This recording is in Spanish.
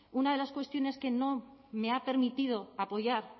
una de las cuestiones que no me ha permitido apoyar